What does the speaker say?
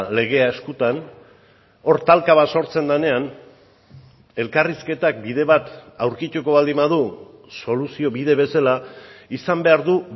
legea eskutan hor talka bat sortzen denean elkarrizketak bide bat aurkituko baldin badu soluzio bide bezala izan behar du